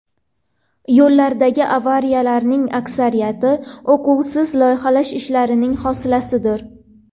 Yo‘llardagi avariyalarning aksariyati uquvsiz loyihalash ishlarining hosilasidir.